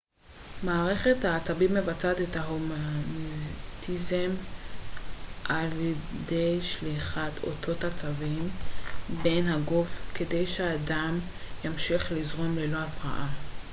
מערכת העצבים מבצעת את ההומאוסטזיס על ידי שליחת אותות עצבים דרך הגוף כדי שהדם ימשיך לזרום ללא הפרעה